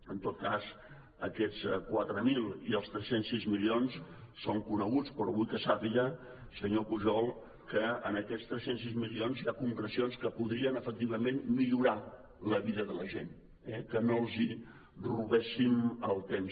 en tot cas aquests quatre mil i els tres cents i sis milions són coneguts però vull que sàpiga senyor pujol que en aquests tres cents i sis milions hi ha concrecions que podrien efectivament millorar la vida de la gent eh que no els robéssim el temps